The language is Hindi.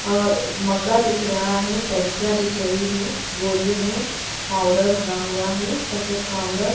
और मगा दिख रहा है टंकिया दिख रही है बोरियो में पाउडर भरा हुआ है सफेद पाउडर --